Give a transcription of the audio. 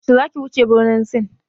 Yaushe zaki wuce birnin Sin?